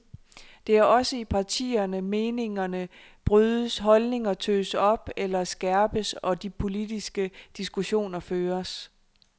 Det er også i partierne meningerne brydes, holdninger tøs op eller skærpes, og de politiske diskussioner føres.